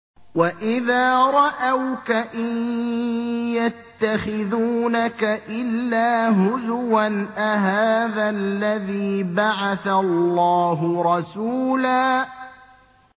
وَإِذَا رَأَوْكَ إِن يَتَّخِذُونَكَ إِلَّا هُزُوًا أَهَٰذَا الَّذِي بَعَثَ اللَّهُ رَسُولًا